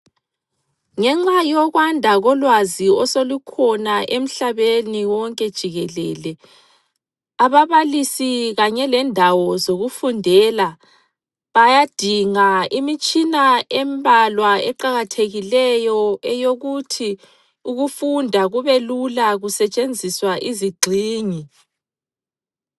Ngenxa yokwanda kolwazi oselukhona emhlabeni wonke jikelele. Ababalisi kanye lendawo zokufundela bayadinga imitshina embalwa eqakathekileyo eyokuthi ukufunda kubelula kusetshenziswa izigxingi.